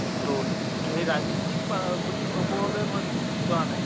তʼসেই ৰাজনিতিক বা বুলি কʼবলৈ, মই বিচঁৰা নাই